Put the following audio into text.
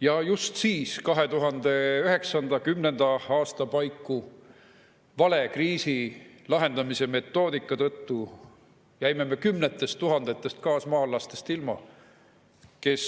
Ja just siis, 2009. ja 2010. aasta paiku, jäime me kriisi lahendamise vale metoodika tõttu ilma kümnetest tuhandetest kaasmaalastest, kes